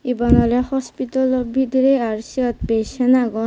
eben olay hospitalo bidire are sot patient agon.